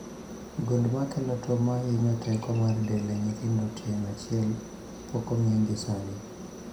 Gund makelo tuo mahinyo teko mar del e nyithindo tieng' achiel pok ong'e gi sani